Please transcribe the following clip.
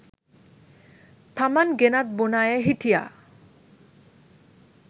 තමන් ගෙනත් බොන අය හිටියා